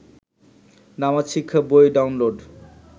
নামাজ শিক্ষা বই ডাউনলোড